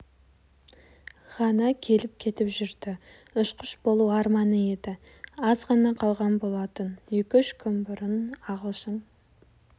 ғана келіп-кетіп жүрді ұшқыш болу арманы еді аз ғана қалған болатын екі-үш күн бұрын ағылшын